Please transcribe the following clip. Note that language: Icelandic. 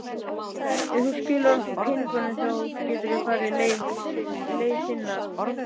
Ef þú skilar okkur peningunum þá geturðu farið leiðar þinnar.